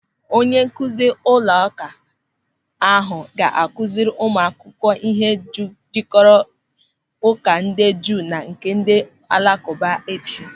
Onye nkụzi ụlọụka ahụ ga-akụziri ụmụakwụkwọ ihe jikọrọ Ụka ndị Juu na nke ndị Alakụba echi.